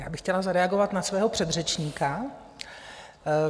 Já bych chtěla zareagovat na svého předřečníka.